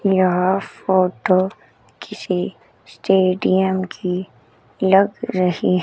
यह फोटो किसी स्टेडियम की लग रही है।